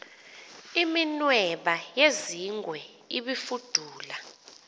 iminweba yezingwe ibifudula